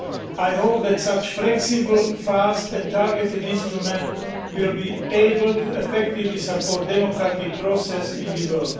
I hope that such flexible, fast and targeted instruments will be able to effectively support the democratic process in the world